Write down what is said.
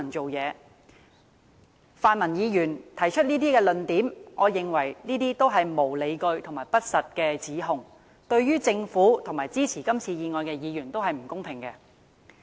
我認為，泛民議員提出的這些論點均屬無理據和不實的指控，對於政府和支持這項議案的議員都不公平。